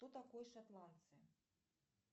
кто такой шотландцы